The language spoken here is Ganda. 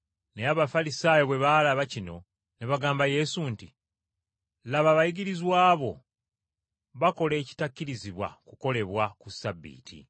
Naye Abafalisaayo bwe baalaba kino ne bagamba Yesu nti, “Laba abayigirizwa bo bakola ekitakkirizibwa kukolebwa ku Ssabbiiti.”